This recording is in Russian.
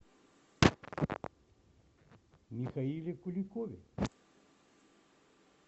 михаиле куликове